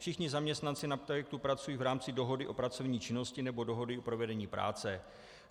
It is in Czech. Všichni zaměstnanci na projektu pracují v rámci dohody o pracovní činnosti nebo dohody o provedení práce.